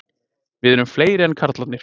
Við erum fleiri en karlarnir